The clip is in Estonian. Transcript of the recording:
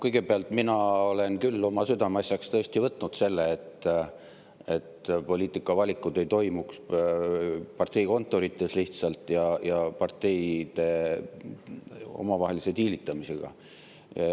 Kõigepealt, mina olen küll oma südameasjaks tõesti võtnud selle, et poliitikavalikud ei toimuks lihtsalt parteikontorites ja parteide omavahelise diilitamisega.